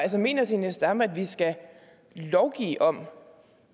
mener zenia stampe at vi skal lovgive om